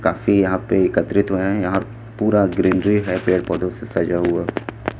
काफी यहां पे एकत्रित हुए हैं यहां पूरा ग्रीनरी टाइप पेड़ पौधों से सजा हुआ--